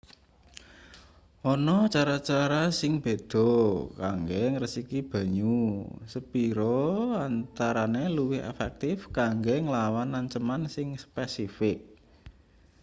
ana cara-cara sing beda kanggo ngresiki banyu sepira antarane luwih efektif kanggo nglawan anceman sing spesifik